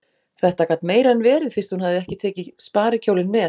Þetta gat meira en verið fyrst hún hafði ekki tekið sparikjólinn með.